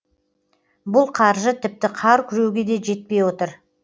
бұл қаржы тіпті қар күреуге де жетпей отыр